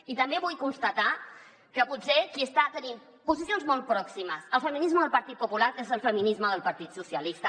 i també vull constatar que potser qui està tenint posicions molt pròximes al feminisme del partit popular és el feminisme del partit socialista